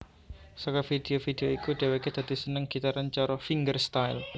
Saka vidio vidio iku dhèwèké dadi seneng gitaran cara fingerstyle